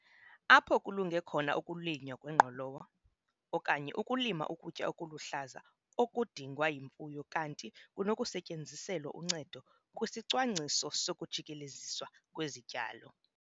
Apho kulunge khona ukulinywa kwengqolowa, okanye ukulima ukutya okuluhlaza okudingwa yimfuyo kanti oku kunokusetyenziselwa uncedo kwisicwangciso sokujikeleziswa kwezityalo.